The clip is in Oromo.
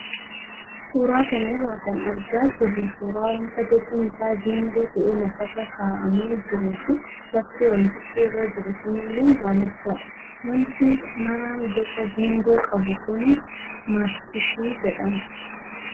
Suuraa kana irraa kan argaa jirru suuraa wanta bocni isaa geengoo ta'ee lafarra kaa'amee jiruu fi lafti wantichi irra jiru sunillee daalachadha. Wanti maraan boca geengoo qabu kunis maastishii jedhama.